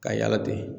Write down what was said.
Ka yala ten